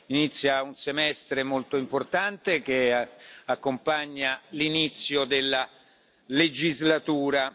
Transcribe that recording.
Inizia un semestre molto importante che accompagna l'inizio della legislatura.